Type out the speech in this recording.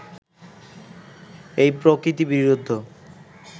এই প্রকৃতিবিরুদ্ধ